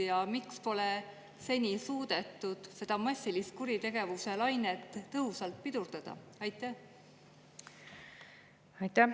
Ja miks pole seni suudetud seda massilist kuritegevuselainet tõhusalt pidurdada?